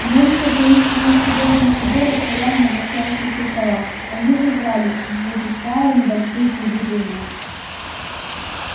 множество таинственных серебряных приборов стояло на вращающихся столах они жужжали выпуская небольшие клубы дыма